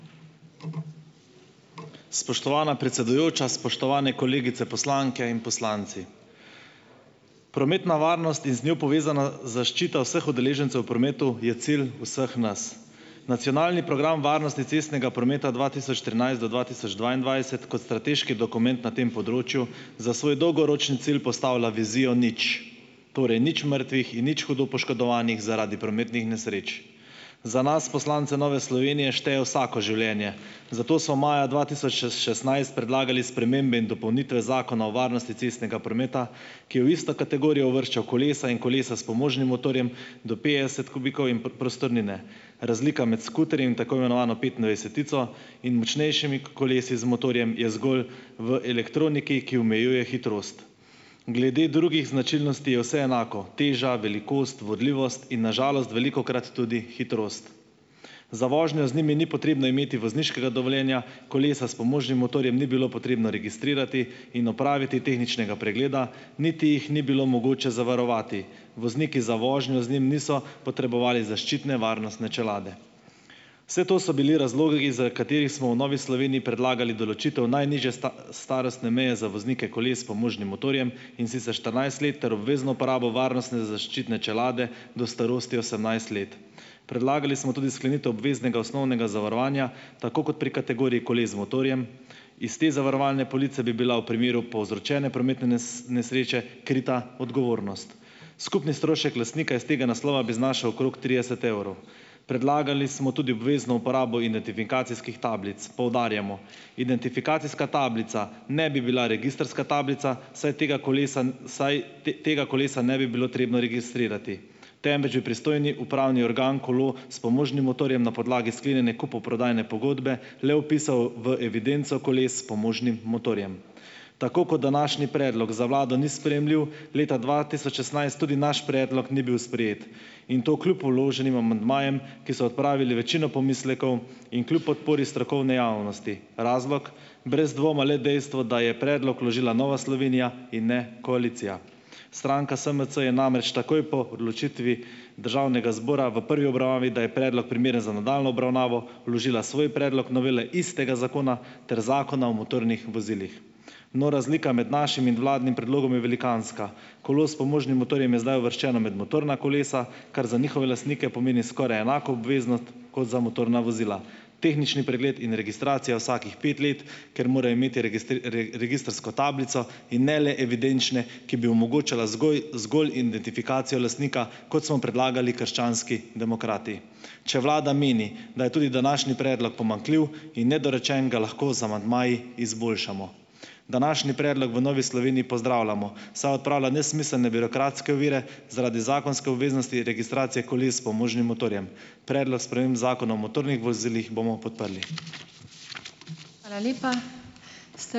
Spoštovana predsedujoča, spoštovane kolegice poslanke in poslanci! Prometna varnost in z njo povezana zaščita vseh udeležencev v prometu je cilj vseh nas. Nacionalni program varnosti cestnega prometa dva tisoč trinajst do dva tisoč dvaindvajset kot strateški dokument na tem področju za svoj dolgoročni cilj postavlja vizijo nič. Torej, nič mrtvih in nič hudo poškodovanih zaradi prometnih nesreč. Za nas, poslance Nove Slovenije, šteje vsako življenje, zato so maja dva tisoč šestnajst predlagali spremembe in dopolnitve Zakona o varnosti cestnega prometa, ki je v isto kategorijo uvrščal kolesa in kolesa s pomožnim motorjem do petdeset "kubikov" in prostornine. Razlika med skuterjem in tako imenovano "petindvajsetico" in močnejšimi kolesi z motorjem je zgolj v elektroniki, ki omejuje hitrost. Glede drugih značilnosti je vse enako: teža, velikost, vodljivost in na žalost velikokrat tudi hitrost. Za vožnjo z njimi ni potrebno imeti vozniškega dovoljenja. Kolesa s pomožnim motorjem ni bilo potrebno registrirati in opraviti tehničnega pregleda, niti jih ni bilo mogoče zavarovati. Vozniki za vožnjo z njim niso potrebovali zaščitne varnostne čelade. Vse to so bili razlogi, iz, katerih smo v Novi Sloveniji predlagali določitev najnižje starostne meje za voznike koles s pomožnim motorjem, in sicer štirinajst let ter obvezno uporabo varnostne zaščitne čelade do starosti osemnajst let. Predlagali smo tudi sklenitev obveznega osnovnega zavarovanja, tako kot pri kategoriji koles z motorjem. Iz te zavarovalne police bi bila v primeru povzročene prometne nesreče krita odgovornost. Skupni strošek lastnika iz tega naslova bi znašal okrog trideset evrov. Predlagali smo tudi obvezno uporabo identifikacijskih tablic. Poudarjamo, identifikacijska tablica ne bi bila registrska tablica, saj tega kolesa saj tega kolesa ne bi bilo potrebno registrirati, temveč bi pristojni upravni organ kolo s pomožnim motorjem na podlagi sklenjene kupoprodajne pogodbe le vpisal v evidenco koles s pomožnim motorjem. Tako kot današnji predlog za vlado ni sprejemljiv, leta dva tisoč šestnajst tudi naš predlog ni bil sprejet in to kljub vloženim amandmajem, ki so odpravili večino pomislekov, in kljub podpori strokovne javnosti. Razlog, brez dvoma le dejstvo, da je predlog vložila Nova Slovenija in ne koalicija. Stranka SMC je namreč takoj po odločitvi državnega zbora v prvi obravnavi, da je predlog primeren za nadaljnjo obravnavo, vložila svoj predlog novele istega zakona ter Zakona o motornih vozilih. No, razlika med našim in vladnim predlogom je velikanska. Kolo s pomožnim motorjem je zdaj uvrščeno med motorna kolesa, kar za njihove lastnike pomeni skoraj enako obveznost kot za motorna vozila. Tehnični pregled in registracija vsakih pet let, ker morajo imeti registrsko tablico in ne le evidenčne, ki bi omogočala zgolj identifikacijo lastnika, kot smo predlagali krščanski demokrati. Če vlada meni, da je tudi današnji predlog pomanjkljiv in nedorečen, ga lahko z amandmaji izboljšamo. Današnji predlog v Novi Sloveniji pozdravljamo, saj odpravlja nesmiselne birokratske ovire zaradi zakonske obveznosti registracije koles s pomožnim motorjem. Predlog sprememb Zakona o motornih vozilih bomo podprli.